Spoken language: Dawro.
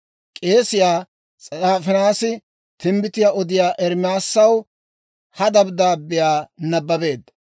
K'eesiyaa S'afaanii timbbitiyaa odiyaa Ermaasaw ha dabddaabbiyaa nabbabeedda.